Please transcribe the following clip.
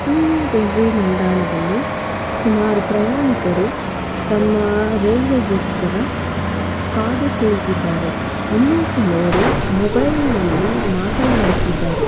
ಇಲ್ಲಿ ರೈಲ್ವೆ ನಿಲ್ದಾಣದಲ್ಲಿ ಸುಮಾರ್ ಪ್ರಯಾಣಿಕರು ತಮ್ಮ ರೈಲ್ವೆಗೋಸ್ಕರ ಕಾದು ಕೋಳಿತ್ತಿದ್ದಾರೆ ಇನ್ನು ಕೆಲವರು ಮೊಬೈಲ್ನಲ್ಲಿ ಮಾತನಾಡುತ್ತಿದ್ದಾರೆ.